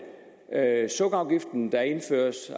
sukkerafgiften der indføres